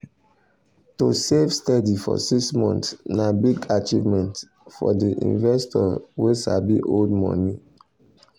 to save steady for six months na big achievement for the investor wey sabi hold money.